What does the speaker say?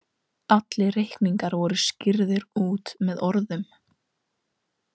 Allir reikningar voru skýrðir út með orðum.